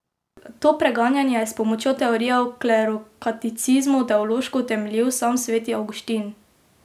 To preganjanje je s pomočjo teorije o klerokatolicizmu teološko utemeljil sam sveti Avguštin.